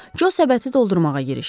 Co səbəti doldurmağa girişdi.